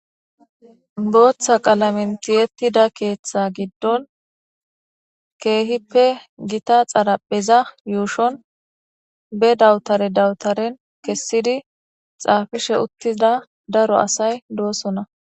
Boththa qalamen tiyetida keththa giddon kehiipe gitta xarpheza yushon be dawtare dawtare kessidi xaffishe uttida darro assay de7oosona